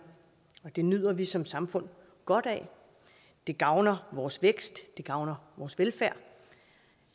og det nyder vi som samfund godt af det gavner vores vækst det gavner vores velfærd